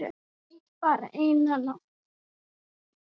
Nei, bara eina nótt.